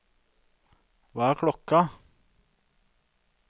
hva er klokken